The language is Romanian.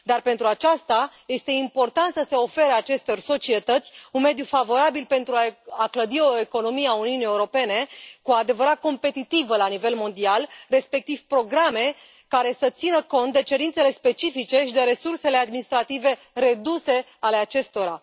Dar, pentru aceasta este important să se ofere acestor societăți un mediu favorabil pentru a clădi o economie a Uniunii Europene cu adevărat competitivă la nivel mondial, respectiv programe care să țină cont de cerințele specifice și de resursele administrative reduse ale acestora.